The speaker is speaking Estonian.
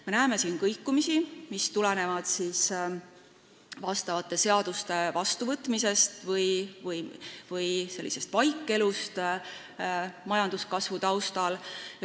Me näeme siin kõikumisi, mis tulenevad seaduste vastuvõtmisest või sellisest vaikelust majanduskasvu taustal.